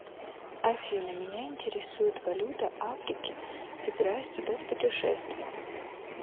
афина меня интересует валюта африки собираюсь туда в путешествие